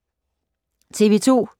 TV 2